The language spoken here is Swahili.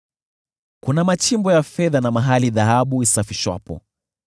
“Kuna machimbo ya fedha, na mahali dhahabu isafishwapo.